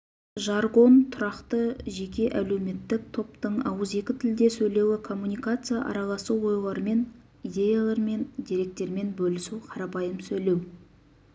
жаргон тұрақты жеке әлеуметтік топтың ауызекі тілде сөйлеуі коммуникация араласу ойлармен идеялармен деректермен бөлісу қарапайым сөйлеу